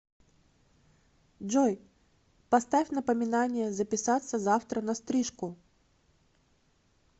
джой поставь напоминание записаться завтра на стрижку